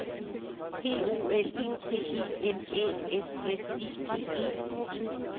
P O L I T I M Æ S S I G E